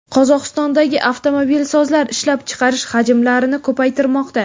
Qozog‘istondagi avtomobilsozlar ishlab chiqarish hajmlarini ko‘paytirmoqda.